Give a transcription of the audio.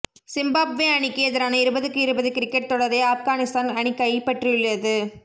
Zimbabwe அணிக்கு எதிரான இருபதுக்கு இருபது கிரிக்கெட் தொடரை ஆப்கானிஸ்தான் அணி கைப்பற்றியுள்ளது